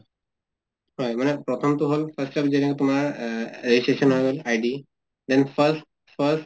হয় মানে প্ৰথম্তো হʼল first ত যেনেকে তোমাৰ অহ registration হৈ গʼল id then first first